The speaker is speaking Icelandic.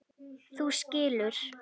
Þú skilur.